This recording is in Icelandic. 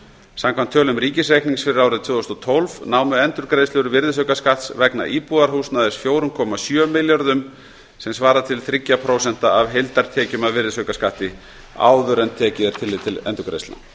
samkvæmt tölum ríkisreiknings fyrir árið tvö þúsund og tólf námu endurgreiðslur virðisaukaskatts vegna íbúðarhúsnæðis fjögur komma sjö milljörðum sem svarar til þrjú prósent af heildartekjum af virðisaukaskatti áður en tillit er tekið til